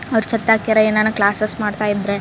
ಅವ್ರು ಸತ್ತಾಗ ಯಾರ ಏನಾ ಕ್ಲಾಸಸ್ ಮಾಡ್ತಾ ಇದ್ರೆ --